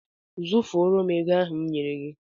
Zụfọrọ m ego ahụ m nyere gị!